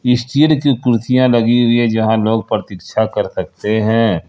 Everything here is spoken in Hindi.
जहां लोग प्रतीक्षा कर सकते हैं।